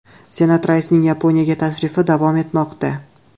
Senat raisining Yaponiyaga tashrifi davom etmoqda.